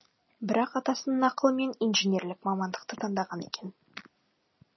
бірақ атасының ақылымен инженерлік мамандықты таңдаған екен